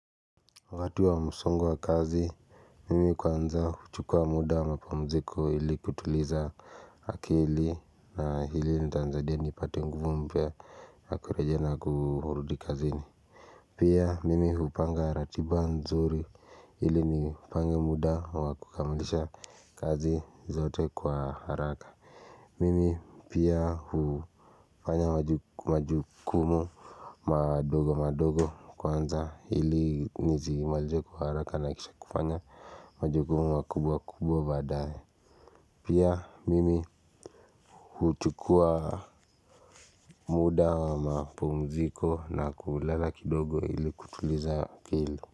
Watu wa msungu wa kazi mimi kwanza huchukua muda wa mapumziko ili kutuliza akili na hili litanisaidia nipate nguvu mpya ya kurejea na kurudi kazini pia mimi hupanga ratiba nzuri ili nipange muda wa kukamilisha kazi zote kwa haraka mimi pia hufanya majukumu madogo madogo kwanza ili nizimalize kwa haraka na kisha kufanya majukumu makubwa kubwa badaye pia mimi huchukua muda mapumziko na kulala kidogo ili kutuliza akili.